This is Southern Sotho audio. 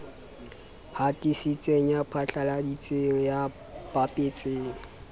hatisitseng ya phatlaladitseng ya bapetseng